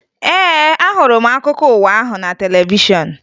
Ee, ahụrụ m akụkọ ụwa ahụ na televishọn